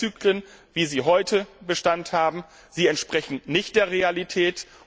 Die Testzyklen, wie sie heute Bestand haben, entsprechen nicht der Realität.